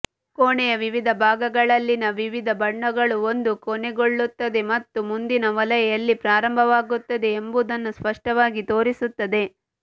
ಕೋಣೆಯ ವಿವಿಧ ಭಾಗಗಳಲ್ಲಿನ ವಿವಿಧ ಬಣ್ಣಗಳು ಒಂದು ಕೊನೆಗೊಳ್ಳುತ್ತದೆ ಮತ್ತು ಮುಂದಿನ ವಲಯ ಎಲ್ಲಿ ಪ್ರಾರಂಭವಾಗುತ್ತದೆ ಎಂಬುದನ್ನು ಸ್ಪಷ್ಟವಾಗಿ ತೋರಿಸುತ್ತದೆ